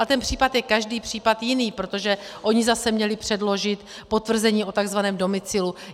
A ten případ je každý případ jiný, protože oni zase měli předložit potvrzení o tzv. domicilu.